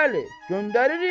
Bəli, göndəririk.